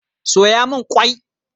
Soya min qwai